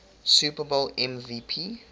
super bowl mvp